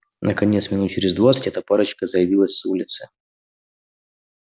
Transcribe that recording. наконец минут через двадцать эта парочка заявилась с улицы